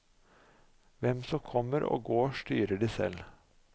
Hvem som kommer og går styrer de selv.